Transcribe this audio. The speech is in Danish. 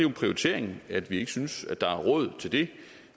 prioritering at vi ikke synes der er råd til det